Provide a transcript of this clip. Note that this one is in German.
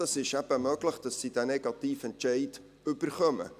Es ist eben möglich, dass sie diesen negativen Entscheid erhalten.